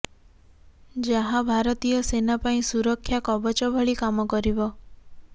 ଯାହା ଭାରତୀୟ ସେନା ପାଇଁ ସୁରକ୍ଷା କବଚ ଭଳି କାମ କରିବ